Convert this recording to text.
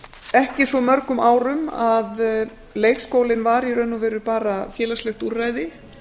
ekki svo mörgum árum að leikskólinn var í raun og veru bara félagslegt úrræði